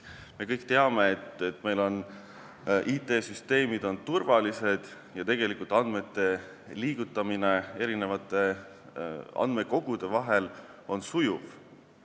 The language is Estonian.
Me kõik teame, et meie IT-süsteemid on turvalised ja tegelikult andmete liigutamine eri andmekogude vahel on sujuv.